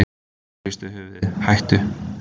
Hún hristi höfuðið: hættu.